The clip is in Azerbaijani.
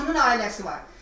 Bunun ailəsi var.